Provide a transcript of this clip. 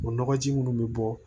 O nɔgɔji minnu bɛ bɔ